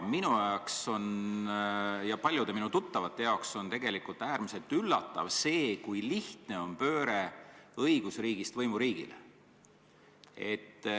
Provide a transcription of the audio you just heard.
Minule ja paljudele mu tuttavatele tuli tegelikult äärmiselt suure üllatusena see, kui lihtne on pööre õigusriigist võimuriigile.